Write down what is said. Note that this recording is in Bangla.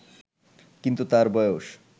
কিন্তু তার বয়স